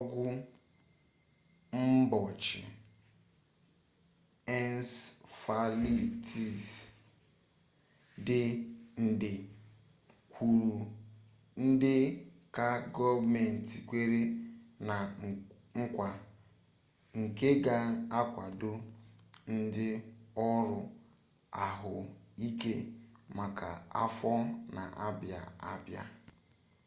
ọgwụ mgbochi ensefalitis dị nde kwuru nde ka gọọmenti kwere na nkwa nke ga-akwado ndị ọrụ ahụike maka afọ na-abịa abịa